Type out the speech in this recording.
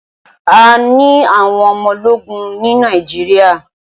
A ní àwọn ọmọ ológun ní Nàíjíríà.